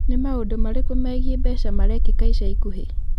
Nĩ maũndũ marĩkũ megiĩ mbeca marekĩka ica ikuhĩ?